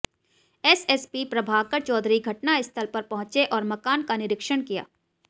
SSP Prabhakar Chaudhary घटना स्थल पर पहुंचे और मकान का निरीक्षण किया